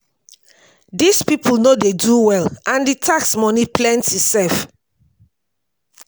dis people no do well and the tax money plenty sef.